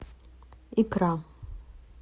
икра